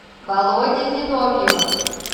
володи зиновьева